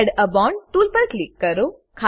add a bond tool પર click કરો